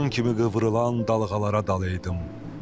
Saçın kimi qıvrılan dalğalara dalaydım.